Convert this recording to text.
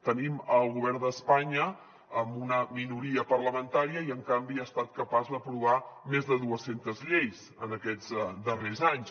tenim el govern d’espanya amb una minoria parlamentària i en canvi ha estat capaç d’aprovar més de dues centes lleis en aquests darrers anys